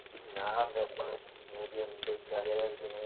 ഞാൻ ഇവിടെയുണ്ട് പെരെൽ കെടുക്കുന്നു